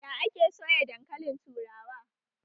Ya ake soya dankali turawa?